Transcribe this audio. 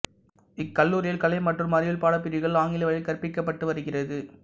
இக்கல்லூரியில் கலை மற்றும் அறிவியல் பாடப்பிரிவுகள் ஆங்கில வழியில் கற்பிக்கப்பட்டுவருகிறது